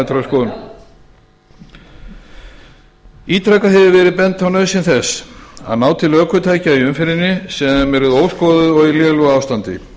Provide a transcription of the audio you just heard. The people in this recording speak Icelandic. lögmæltrar skoðunar ítrekað hefur verið bent á nauðsyn þess að ná til ökutækja í umferðinni sem eru óskoðuð og í lélegu ástandi